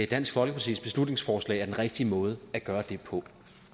dansk folkepartis beslutningsforslag er den rigtige måde at gøre det på